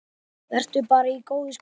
Vertu bara í góðu skapi.